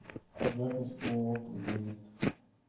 запись ооо протезист